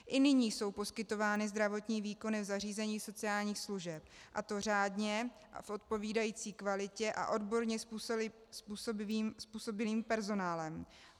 I nyní jsou poskytovány zdravotní výkony v zařízeních sociálních služeb, a to řádně a v odpovídající kvalitě a odborně způsobilým personálem.